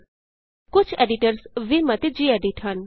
000144 000047 ਕੁਝ editors Vim ਅਤੇ gedit ਹਨ